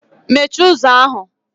Mechie ụzọ ahụ!